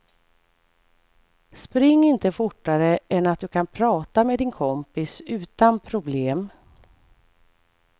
Spring inte fortare än att du kan prata med din kompis utan problem.